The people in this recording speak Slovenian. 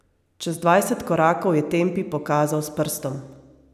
Čez dvajset korakov je Tempi pokazal s prstom.